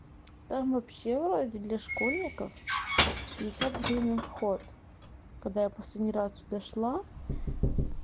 там вообще вроде для школьников пятьдесят гривен вход когда я последний раз туда шла